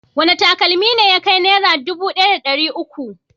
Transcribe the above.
Wane takalmi ne ya kai Naira dubu ɗaya da ɗari uku?